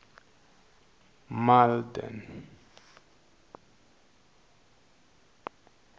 malden